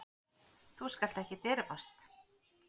Þú skalt ekki dirfast.